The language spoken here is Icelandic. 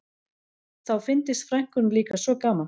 Þá fyndist frænkunum líka svo gaman